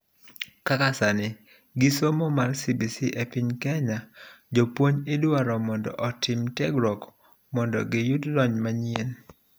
kaka sani, gi somo mar CBC epiny Kenya, jopuonj idwaro mondo otim tiegruok mondo giyud lony manyien